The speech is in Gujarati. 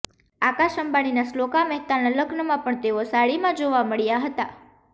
આકાશ અંબાણીના શ્લોકા મહેતાના લગ્નમાં પણ તેઓ સાડીમાં જોવા મળ્યા હતા